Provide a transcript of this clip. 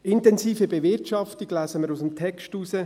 «Intensive Bewirtschaftung» – dies lesen wir aus dem Text heraus;